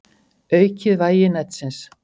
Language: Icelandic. Aukið vægi netsins